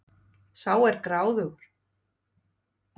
Sá er gráðugur!